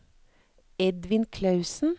Edvin Klausen